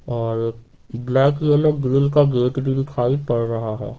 और black yellow green का gate भी दिखाई पड़ रहा है।